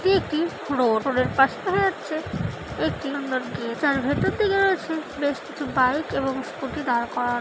এটি একটি road. Road এর পাশে দেখা যাচ্ছে একটি সুন্দর গে যার ভেতর থেকে রয়েছে বেশ কিছু বাইক এবং স্কুটি দাঁড় করা--